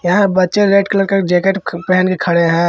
यहां बच्चे red colour का जैकेट पहन के खड़े हैं।